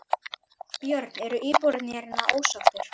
Björn: Eru íbúarnir hér ósáttir?